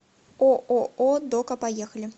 ооо дока поехали